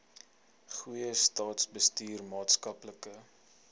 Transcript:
goeie staatsbestuur maatskaplike